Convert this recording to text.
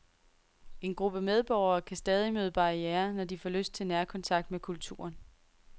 En gruppe medborgere kan stadig møde barrierer, når de får lyst til nærkontakt med kulturen.